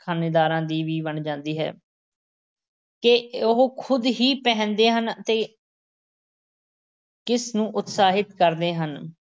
-ਖ਼ਾਨੇਦਾਰਾਂ ਦੀ ਵੀ ਬਣ ਜਾਂਦੀ ਹੈ ਕਿ ਉਹ ਖ਼ੁਦ ਕੀ ਪਹਿਨਦੇ ਹਨ ਅਤੇ ਕਿਸ ਨੂੰ ਉਤਸ਼ਾਹਿਤ ਕਰਦੇ ਹਨ।